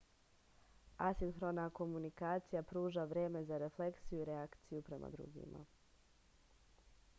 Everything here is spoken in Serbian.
asinhrona komunikacija pruža vreme za refleksiju i reakciju prema drugima